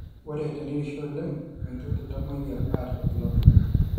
Ore tenerishu oleng meitoki iltamoyia aata irbulabol